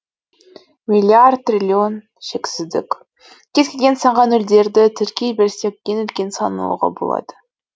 миллиард триллион шексіздік кез келген санға нөлдерді тіркей берсек ең үлкен сан алуға болады